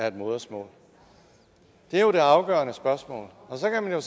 et modersmål det er jo det afgørende spørgsmål og så kan man jo